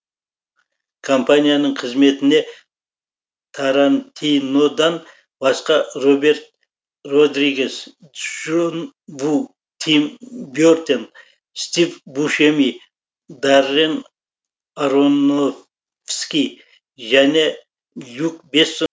компанияның қызметіне тарантинодан басқа роберт родригес джон ву тим бертен стив бушеми даррен аронофски және люк бессон секілді тұлғалар өз уақытында араласқан болатын